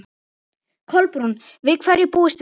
Kolbrún, við hverju búist þið?